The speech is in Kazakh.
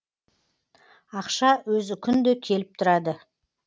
ақша өзі күнде келіп тұрады